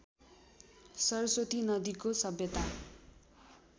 सरस्वती नदीको सभ्यता